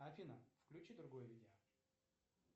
афина включи другое видео